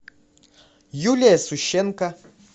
юлия сущенко